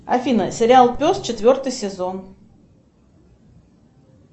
афина сериал пес четвертый сезон